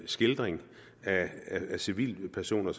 skildring af civilpersoner